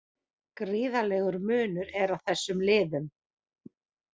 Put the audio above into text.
Gríðarlegur munur er á þessum liðum